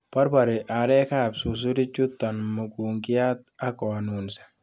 Borbori arekab susurichuton mukunkiat ak konunsi.